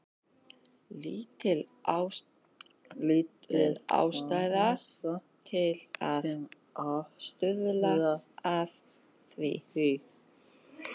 Lítil ástæða til að stuðla að því.